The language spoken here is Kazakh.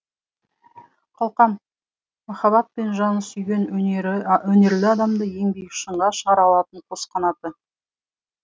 қалқам махаббат пен жаны сүйген өнерлі адамды ең биік шыңға шығара алатын қос қанаты